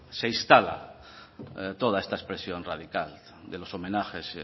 se instala toda esta expresión radical de los homenajes